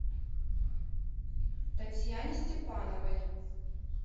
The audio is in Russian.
татьяне степановой